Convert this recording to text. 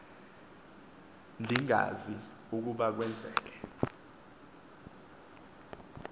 ndingazi ukuba kwenzeke